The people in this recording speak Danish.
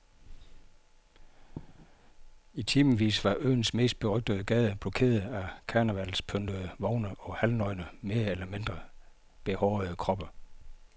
I timevis var øens mest berømte gade blokeret af karnevalspyntede vogne og halvnøgne mere eller mindre behårede kroppe.